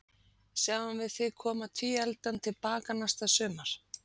Sjáum við þig koma tvíefldan til baka næsta sumar?